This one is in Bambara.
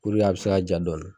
a bɛ se ka ja dɔɔni.